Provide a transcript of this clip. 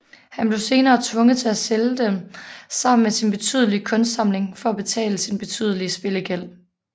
Han blev senere tvunget til at sælge dem sammen med sin betydelige kunstsamling for at betale sin betydelige spillegæld